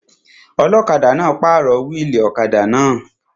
Ọlọ́kadà náà pàrọ̀ wíìlì ọ̀kadà náà